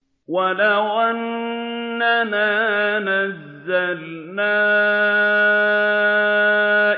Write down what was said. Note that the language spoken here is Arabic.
۞ وَلَوْ أَنَّنَا نَزَّلْنَا